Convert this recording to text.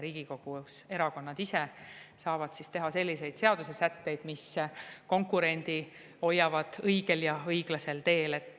Riigikogus saavad erakonnad ise teha selliseid seaduse sätteid, mis hoiavad konkurendid õigel ja õiglasel teel.